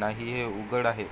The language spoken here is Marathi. नाहीहे उघड आहे